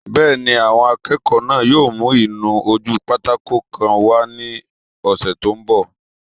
Bẹ́ẹ̀ni, àwọn akẹ́kọ̀ọ́ náà yóò mú ìnu-ojúpátákó kan wá ní ọsẹ́ tó n bọ̀